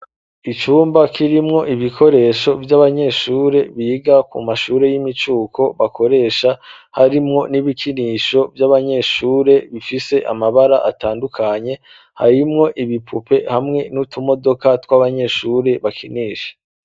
icumba kirimwo ibikoresho vy'abanyeshure biga ku mashure y'imicuko bakoresha harimwo n'ibikinisho vy'abanyeshure bifise amabara atandukanye harimwo ibipupe hamwe n'utumodoka tw'abanyeshuri bakinisha.